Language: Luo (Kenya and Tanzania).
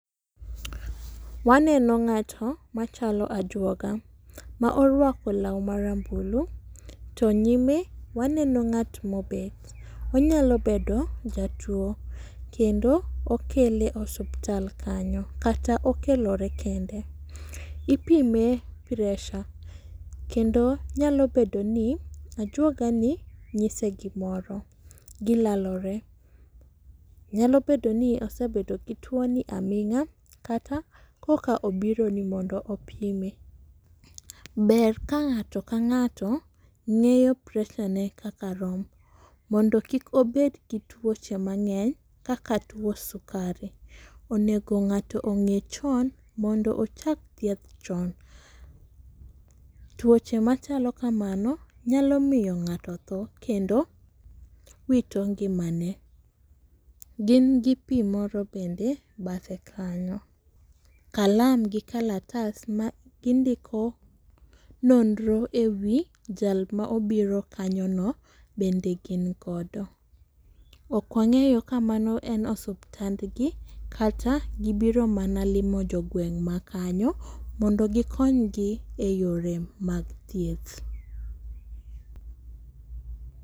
Waneno ng'ato machalo ajuoga ma orwako law marambulu to nyime waneno ng'at mobet. Onyalo bedo jatuwo kendo okele osuptal kanyo kata okelore kende. Ipime pressure kendo nyalo bedo ni ajuogani nyise gimoro, gilalore. Nyalo bedo ni osebedo gi tuwoni aming'a kata koka obiro ni mondo opime. Ber ka ng'ato ka ng'ato ng'eyo pressure ne kaka rom mondo kik obed gi tuoche mang'eny kaka tuwo sukari. Onego ng'ato ong'e chon mondo ochak thieth chon. Tuoche machalo kamano nyalo miyo ng'ato tho kendo wito ngimane. gin gi pi moro bende bathe kanyo, kalam gi kalatasa ma gindiko nonro e wi jal ma obiro kanyono bende gin godo. Ok wang'eyo ka mano en osuptandgi kata gibiro mana limo jogweng' makanyo mondo gikonygi e yore mag thieth.